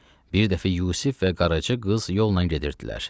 Bir dəfə Yusif və qaraçı qız yolla gedirdilər.